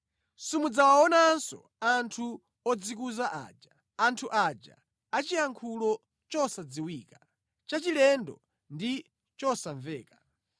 Simudzawaonanso anthu odzikuza aja, anthu aja achiyankhulo chosadziwika, chachilendo ndi chosamveka.